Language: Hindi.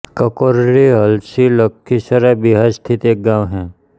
ककरौरी हलसी लखीसराय बिहार स्थित एक गाँव है